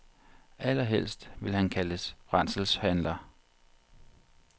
Allerhelst vil han kaldes brændselshandler.